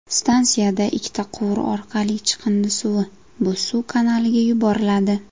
Stansiyada ikkita quvur orqali chiqindi suvi Bo‘zsuv kanaliga yuboriladi.